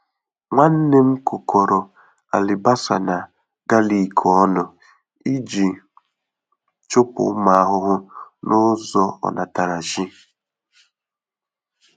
Nwanne m kụkọrọ alibasa na galik ọnụ iji chụpụ ụmụ ahụhụ n'ụzọ onatarachi.